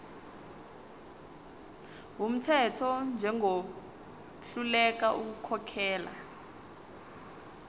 wumthetho njengohluleka ukukhokhela